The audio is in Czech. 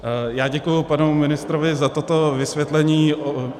Já děkuji panu ministrovi za toto vysvětlení.